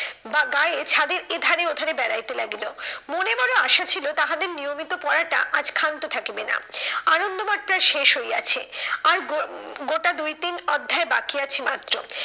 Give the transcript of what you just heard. বা গায়ে ছাদের এধারে ওধারে বেড়াইতে লাগিল। মনে মনে আসা ছিল তাহাদের নিয়মিত পড়াটা আজ ক্ষান্ত থাকিবে না। আনন্দমঠ প্রায় শেষ হইয়াছে আর গো গোটা দুই তিন অধ্যায় বাকি আছে মাত্র।